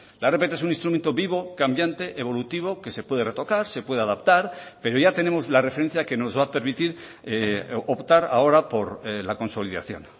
la rpt es un instrumento vivo cambiante evolutivo que se puede retocar se puede adaptar pero ya tenemos la referencia que nos va a permitir optar ahora por la consolidación